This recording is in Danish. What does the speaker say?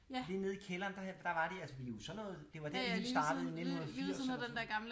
Lige nede i kælderen der var de altså vi er sådan noget det var dér det hele startede i 1980 eller sådan noget